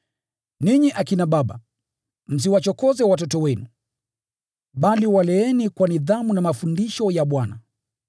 Ninyi akina baba, msiwachokoze watoto wenu, bali waleeni kwa nidhamu na mafundisho ya Bwana.